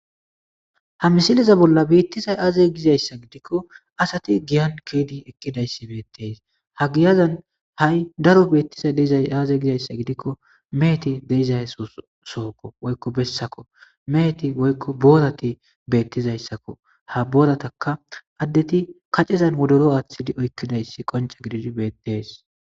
ha misiliza bolla beettizay aaze gizayssa gidikko asati giyan keedi ekkidayssi beettees ha giyazan ha7i daro beettizay dza aaze gizayssa gidikko meeti deizaysosookko woykko bessakko meeti woykko boorati beettizayssakko ha boorataka addeti kacezan wodoro aaththidi oykkidayssi qonca gididi beettees